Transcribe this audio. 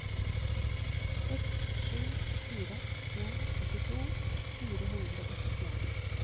seks sju fire en åttito fire hundre og syttien